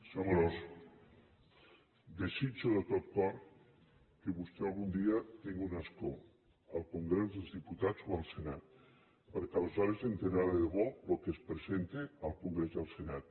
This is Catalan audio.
senyor amorós desitjo de tot cor que vostè algun dia tingui un escó al congrés dels diputats o al senat perquè aleshores s’assabentarà de debò del que es presenta al congrés i al senat